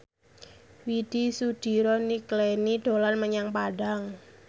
Widy Soediro Nichlany dolan menyang Padang